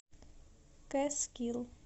кэскил